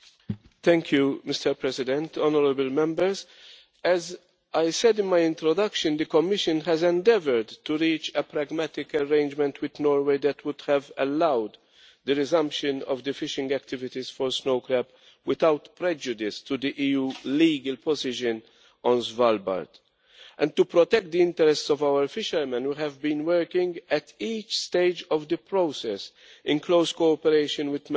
Mr President, honourable Members, as I said in my introduction, the Commission has endeavoured to reach a pragmatic arrangement with Norway that would have allowed the resumption of fishing activities for snow crab without prejudice to the EU's legal position on Svalbard. To protect the interests of our fishermen, we have been working at each stage of the process, in close cooperation with Member States.